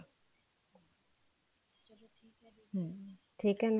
ਠੀਕ